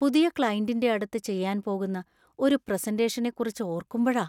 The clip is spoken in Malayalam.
പുതിയ ക്‌ളൈന്‍റിന്‍റെ അടുത്ത് ചെയ്യാൻ പോകുന്ന ഒരു പ്രസന്റേഷനെക്കുറിച്ച് ഓര്‍ക്കുമ്പഴാ.